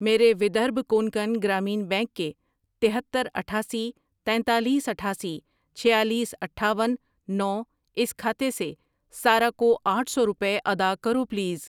میرے ودربھا کونکن گرامین بینک کے تہتر، اٹھاسی، تینتالیس، اٹھاسی، چھیالیس، اٹھاون، نو اس کھاتے سے سارہ کو آٹھ سو روپے ادا کرو پلیز۔